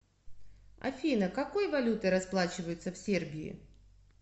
афина какой валютой расплачиваются в сербии